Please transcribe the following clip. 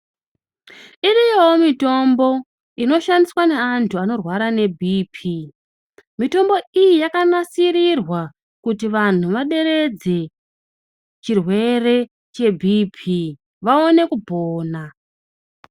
Iriyowo mitombo inoshandiswa neantu anorwara neBhiipii. Mitombo iyi yakanasirirwa kuti vantu vaderedze chirwere cheBhiipii, vaone kupona.